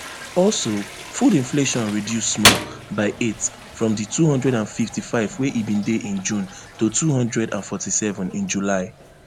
also food inflation reduce small by eight from di two hundred and fifty-five wey e bin dey in june to two hundred and forty-seven in july